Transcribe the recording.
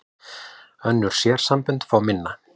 Önnur sérsambönd fá minna